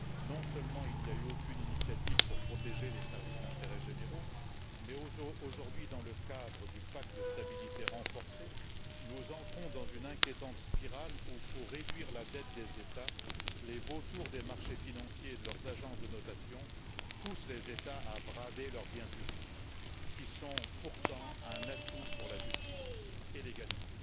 Non seulement, il n'y a eu aucune initiative pour protéger les services d'intérêt général mais aujourd'hui, dans le cadre du pacte de stabilité renforcé, nous entrons dans une inquiétante spirale où, pour réduire la dette des États, les vautours des marchés financiers et de leurs agences de notation poussent les États à brader leurs biens publics qui sont pourtant un atout pour la justice et l'égalité.